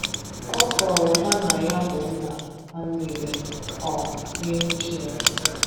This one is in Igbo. Ọ kọrọ ha na ya bụ nna ha niile um n’ihu Chineke.